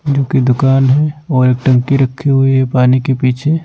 जोकि दुकान है और एक टंकी रखी हुई है पानी के पीछे।